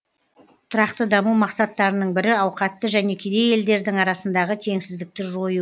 тұрақты даму мақсаттарының бірі ауқатты және кедей елдердің арасындағы теңсіздікті жою